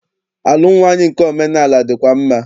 Alụm nwaanyị nke omenaala dịkwa mma.